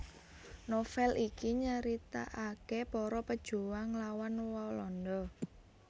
Novel iki nyritaaké para pejuang nglawan Walanda